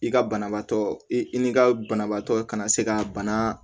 I ka banabaatɔ i i ni ka banabaatɔ kana se ka bana